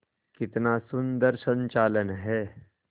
कितना सुंदर संचालन है